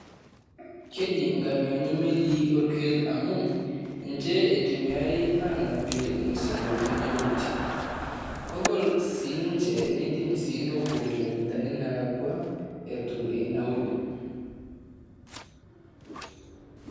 Kejii ingamiani imelii orpukel amu, nje itumiari anapie irmizigo teniduri. Kogol sii ninje niidim nipuo inkilomitani naalakwa etu enauru.